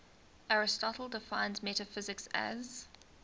aristotle defines metaphysics as